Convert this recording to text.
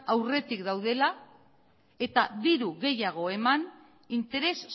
aurretik gaudela eta diru gehiago eman interes